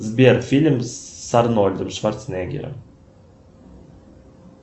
сбер фильм с арнольдом шварценеггером